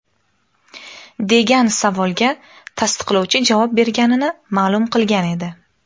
degan savolga tasdiqlovchi javob berganini ma’lum qilgan edi.